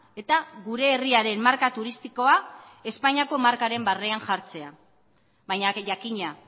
eta gure herriaren marka turistikoa espainiako markaren barnean jartzea baina jakina